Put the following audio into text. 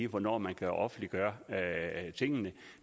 hvornår man kan offentliggøre tingene